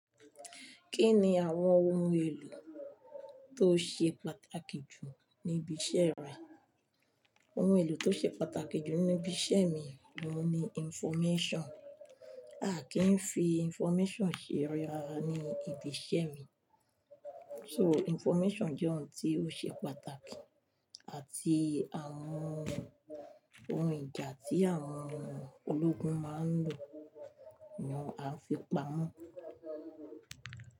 Kí ni àwọn ohun èlò tó ṣe pàtàkì jù ní ibi iṣẹ́ rẹ? Ohun èlò tó ṣe pàtàkì jù níbi iṣẹ́ mi ni ohun ni information. A kì í fi information ṣe rárá ní ibi iṣẹ́ mi. So information jẹ ohun tí ó ṣe pàtàkì àti àwọn ohun ìjà tí àwọn ológun máa ń lò ni a fi pamọ́.